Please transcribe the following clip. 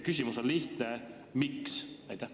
Küsimus on lihtne: miks?